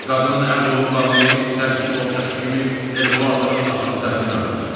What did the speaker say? Qadının əl-qolunu bağlayıb dənizçi boğçası kimi Elmulatonun atının tərkinə atdılar.